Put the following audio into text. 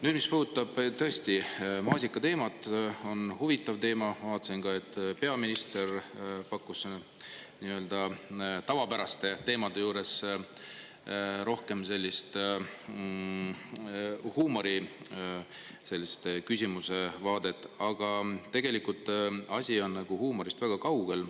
Nüüd, mis puudutab tõesti maasikateemat – on huvitav teema, ma vaatasin, et peaminister pakkus nii-öelda tavapäraste teemade juures rohkem sellist huumori, sellist küsimuse vaadet, aga tegelikult asi on huumorist väga kaugel.